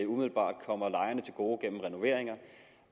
umiddelbart kommer lejerne til gode gennem renoveringer